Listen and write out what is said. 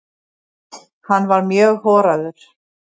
Hann var mjög horaður.